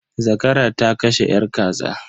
Zakara ta kashe yar kaza.